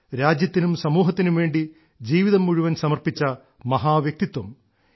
രാജ്യത്തിനും സമൂഹത്തിനും വേണ്ടി ജീവിതം മുഴുവൻ സമർപ്പിച്ച മഹാ വ്യക്തിത്വം